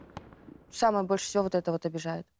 самое больше всего вот это вот обижает